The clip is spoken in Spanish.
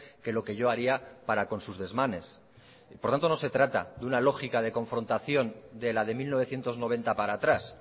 que lo que yo haría para con sus desmanes por tanto no se trata de una lógica de confrontación de la de mil novecientos noventa para atrás